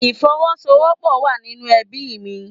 Ìfowọ́sowọ́pọ̀ wá nínú ẹbíì mi.